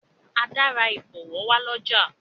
Ada rà ibọwọ wá l'ọja.